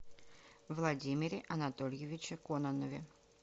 владимире анатольевиче кононове